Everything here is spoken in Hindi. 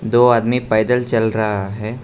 दो आदमी पैदल चल रहा है।